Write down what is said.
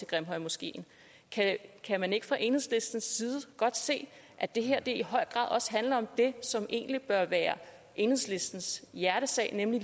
grimhøjmoskeen kan man ikke fra enhedslistens side godt se at det her i høj grad også handler om det som egentlig bør være enhedslistens hjertesag nemlig